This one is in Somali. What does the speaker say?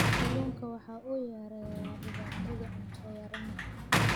Kalluunku waxa uu yareeyaa dhibaatada cunto yaraan.